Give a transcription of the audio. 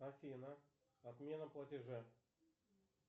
афина отмена платежа